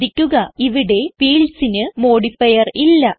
ശ്രദ്ധിക്കുക ഇവിടെ fieldsന് മോഡിഫയർ ഇല്ല